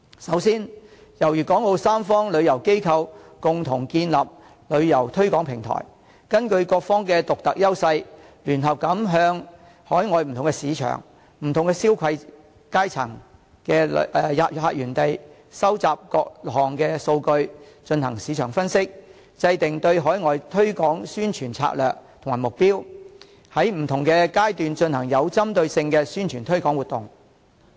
首先，由粵港澳三方旅遊機構共同建立旅遊推廣平台，根據各方的獨特優勢，聯合向海外不同市場、消費階層的客源地收集各項數據，進行市場分析，制訂對海外推廣宣傳的策略及目標，在不同階段進行有針對性的宣傳推廣活動。